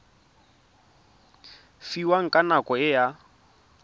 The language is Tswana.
fiwang ka nako e a